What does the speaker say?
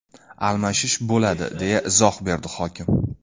Almashish bo‘ladi”, deya izoh berdi hokim.